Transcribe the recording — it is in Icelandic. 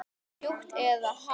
Mjúkt eða hart?